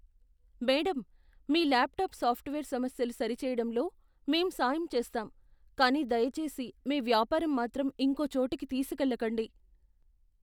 Madam, మీ laptop software సమస్యలు సరిచేయడంలో మేం సాయం చేస్తాం కానీ దయచేసి మీ వ్యాపారం మాత్రం ఇంకో చోటికి తీసుకెళ్లకండి.